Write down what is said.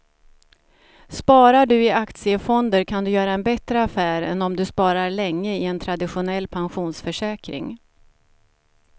Sparar du i aktiefonder kan du göra en bättre affär än om du sparar länge i en traditionell pensionsförsäkring.